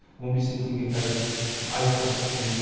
он бес мың теңге қазір айлыққа шаққан кезде